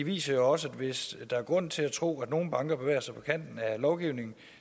viser jo også at hvis der er grund til at tro at nogle banker bevæger sig på kanen af lovgivningen